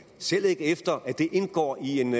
selv ikke efter at det indgår i en